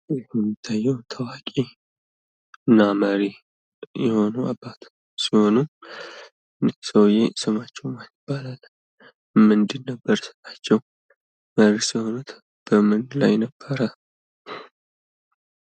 ይህ የሚታየው ታዋቂ እና መሪ የሆነ አባታችን ሰው ነው። እኒህ ሰዉየ ስማቸው ማን ይባላል? ምንድን ነበር ስራቸው? መሪስ የሆኑት በምን ላይ ነበር?